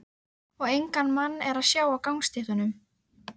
Og engan mann er að sjá á gangstéttunum.